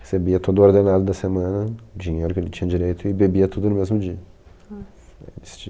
Recebia todo o ordenado da semana, o dinheiro que ele tinha direito e bebia tudo no mesmo dia.